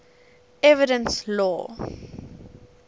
evidence law